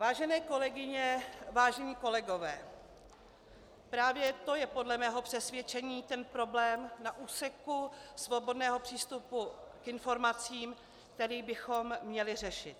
Vážené kolegyně, vážení kolegové, právě to je podle mého přesvědčení ten problém na úseku svobodného přístupu k informacím, který bychom měli řešit.